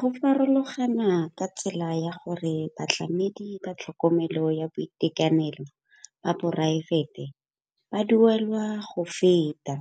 Go farologana ka tsela ya gore batlamedi ba tlhokomelo ya boitekanelo ba poraefete ba duelwa go feta